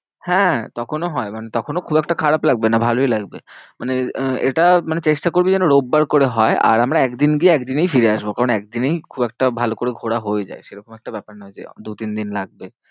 হ্যাঁ তখনও হয় মানে তখনও খুব একটা খারাপ লাগবে না ভালোই লাগবে। মানে আহ এটা মানে চেষ্টা করবি যেন রবিবার করে হয়। আর আমরা একদিন গিয়ে একদিনেই ফিরে আসবো। কারণ একদিনেই খুব একটা ভালো করে ঘোরা হয়ে যায় সেরকম একটা ব্যাপার নয় যে দু তিন দিন লাগবে।